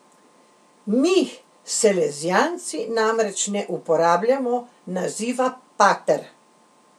Mi, salezijanci, namreč ne uporabljamo naziva pater.